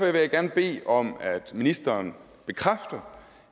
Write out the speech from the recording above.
jeg gerne bede om at ministeren bekræfter